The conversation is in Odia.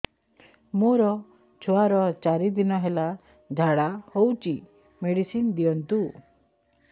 ମୋର ଛୁଆର ଚାରି ଦିନ ହେଲା ଝାଡା ହଉଚି ମେଡିସିନ ଦିଅନ୍ତୁ